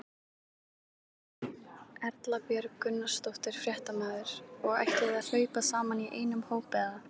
Erla Björg Gunnarsdóttir, fréttamaður: Og ætlið þið að hlaupa saman í einum hóp eða?